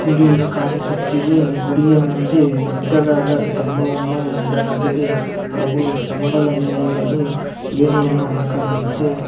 ಗುಡಿ ಕಾಣಿಸುತ್ತಿದೆ ಗುಡಿಯ ಮುಂದೆ ದೊಡ್ಡದಾದ ಕಂಬ ಇಡಲಾಗಿದೆ ಹಾಗು ಸ್ತಅಂಬಾದ ಮೇಲೆ ಏರಲೂ ಎನಿ ಅನ್ನು ಹಾಕಲಾಗಿದೆ .